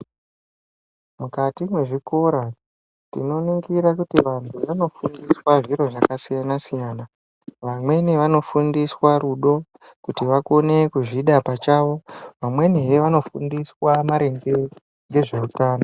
Mukati mezvikora tino ningira kuti vandu vanofundiswa zviro zvaka siyana siyana vamweni vano fundiswa rudo kuti vakone kuzvida pachavo vamweni he vano fundiswa maringe ngezveutano.